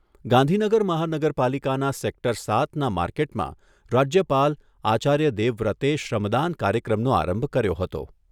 ગાંઘીનગર મહાનગરપાલિકાના સેક્ટર સાતના માર્કેટમાં રાજ્યપાલ આચાર્ય દેવવ્રતે શ્રમદાન કાર્યક્રમનો આરંભ કર્યો હતો.